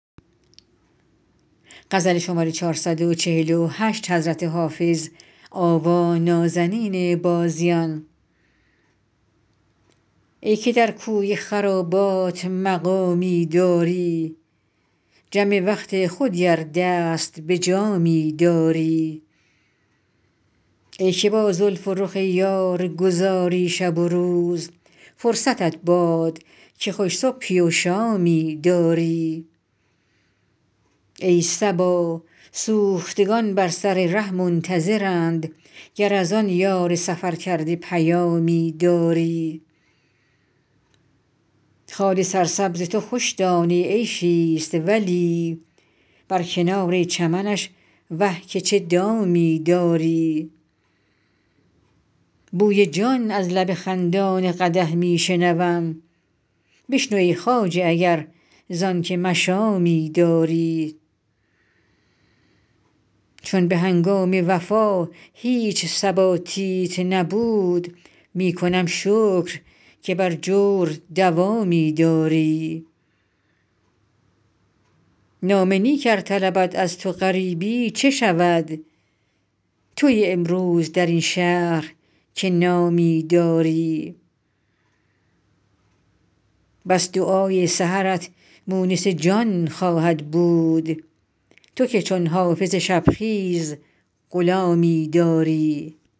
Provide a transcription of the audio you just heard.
ای که در کوی خرابات مقامی داری جم وقت خودی ار دست به جامی داری ای که با زلف و رخ یار گذاری شب و روز فرصتت باد که خوش صبحی و شامی داری ای صبا سوختگان بر سر ره منتظرند گر از آن یار سفرکرده پیامی داری خال سرسبز تو خوش دانه عیشی ست ولی بر کنار چمنش وه که چه دامی داری بوی جان از لب خندان قدح می شنوم بشنو ای خواجه اگر زان که مشامی داری چون به هنگام وفا هیچ ثباتیت نبود می کنم شکر که بر جور دوامی داری نام نیک ار طلبد از تو غریبی چه شود تویی امروز در این شهر که نامی داری بس دعای سحرت مونس جان خواهد بود تو که چون حافظ شب خیز غلامی داری